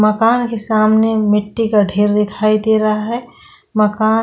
मकान के सामने मिट्टि का ठेर दिखाई दे रहा है मकान --